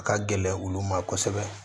A ka gɛlɛn olu ma kosɛbɛ